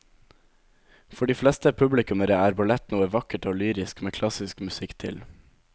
For de fleste publikummere er ballett noe vakkert og lyrisk med klassisk musikk til.